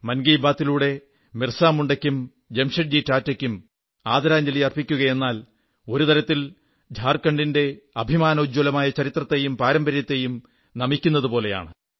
മൻ കീ ബാത്തിലൂടെ ബിർസാ മുണ്ടയ്ക്കും ജാംഷഡ്ജി ടാറ്റായ്ക്കും ആദരാഞ്ജലി അർപ്പിക്കുകയെന്നാൽ ഒരു തരത്തിൽ ഝാർഖണ്ഡിന്റെ അഭിമാനോജ്വലമായ ചരിത്രത്തെയും പാരമ്പര്യത്തെയും നമിക്കുന്നതുപോലെയാണ്